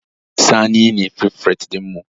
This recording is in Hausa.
Sani ne firifet ɗinmu